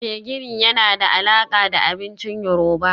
Gbegiri yana da alaƙa da abincin yoruba